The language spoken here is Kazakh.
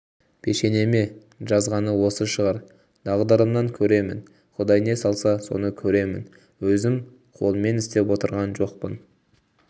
пешенеме жазғаны осы шығар тағдырымнан көремін құдай не салса соны көремін өзім қолмен істеп отырған жоқпын